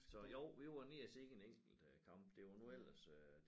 Så jo vi var nede og se en enkelt øh kamp det var nu ellers øh